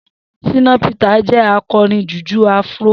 Shina Peter jẹ akọrin jùjú áfúró